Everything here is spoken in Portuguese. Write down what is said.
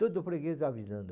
Todo freguês avisando.